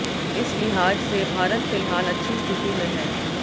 इस लिहाज से भारत फिलहाल अच्छी स्थिति में है